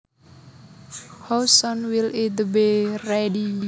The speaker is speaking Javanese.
How soon will it be ready